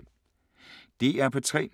DR P3